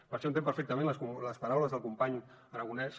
per això entenc perfectament les paraules del company aragonès